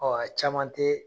caman te